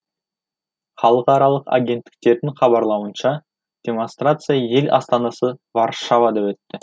халықаралық агенттіктердің хабарлауынша демонстрация ел астанасы варшавада өтті